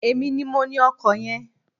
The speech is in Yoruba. Èmi ní mo ní ọkọ yen